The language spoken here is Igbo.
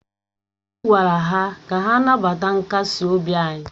Anyị gwara ha ka ha nabata nkasi obi anyị